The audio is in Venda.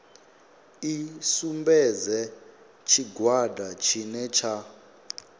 i sumbedze tshigwada tshine tsha